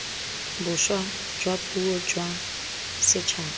boswa jwa puo jwa setšhaba